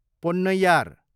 Ponnaiyar